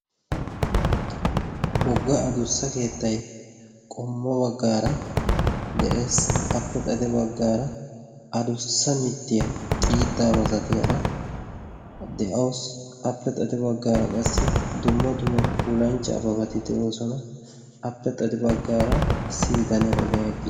wogga adussa keettai qommo baggaara de'ees. appe xate baggaara adussa mittiyaa xiiddaa masatiyaara de'ausi appe xate baggaara qassi dumma dumo pulanchchaa babati de'oosona. appe xade baggaara issi bitanee ogiyan de